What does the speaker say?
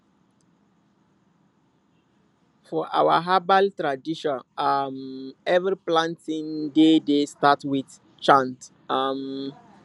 for our herbal tradition um every planting day dey start with chant um